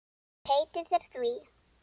Ég heiti þér því.